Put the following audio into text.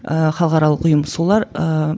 ы халықаралық ұйым солар ыыы